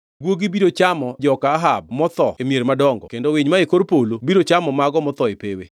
“Guogi biro chamo joka Ahab motho e mier madongo kendo winy mae kor polo biro chamo mago motho e pewe.”